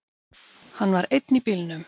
Hann var einn í bílnum.